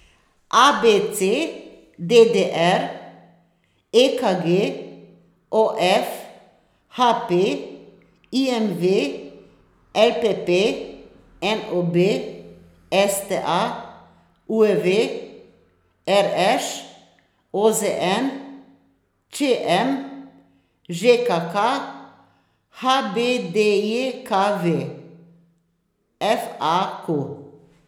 A B C; D D R; E K G; O F; H P; I M V; L P P; N O B; S T A; U E V; R Š; O Z N; Č M; Ž K K; H B D J K V; F A Q.